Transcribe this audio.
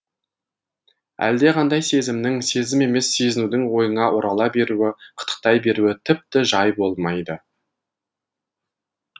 әлдеқандай сезімнің сезім емес сезінудің ойыңа орала беруі қытықтай беруі тіпті жай болмайды